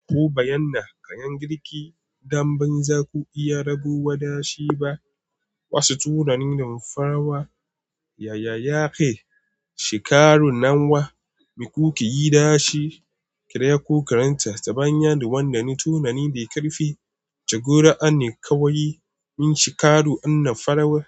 Ko bayyana, ƙayan girki, damben za ku iya rago wa dashi ba. Wasu tunanin farawa, yaya yake shika ru nan wa, me kuke yi dashi, kira ko karanta ta bayan wanda ne tunani da ƙarfi. Jagora ne kawai in shika ru wannan farawar.